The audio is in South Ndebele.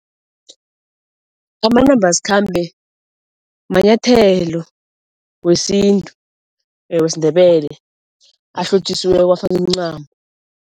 Amanambasikhambe manyathelo wesintu wesiNdebele ahlotjisiweko afakwa imincamo.